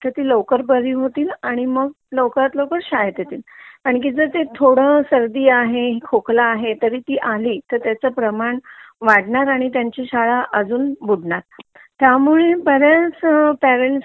तर ती लवकर बारी होतील आणि मग लवकरात लवकर शाळेत येतील कारण की जर ते थोडा सर्दी आहे खोकला आहे तरी ती आली की त्याचा प्रमाण वाढणार आणि त्यांची शाळा अजून बुडणार त्यामुळे बरेच पेरेंट्स णे ह्या